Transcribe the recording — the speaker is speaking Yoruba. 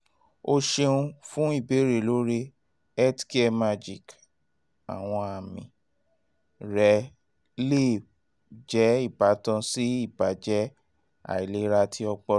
o ṣeun fun ibeere lori healthcaremagic!àwọn àmì um rẹ le jẹ ibatan si ibajẹ um ailera ti ọpọlọ